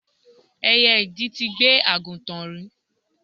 Ẹyẹ idì ti gbé àgùntàn rí.